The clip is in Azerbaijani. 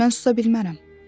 Mən susa bilmərəm.